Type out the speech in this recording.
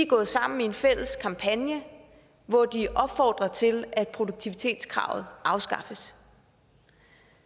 gået sammen i en fælles kampagne hvor de opfordrer til at produktivitetskravet afskaffes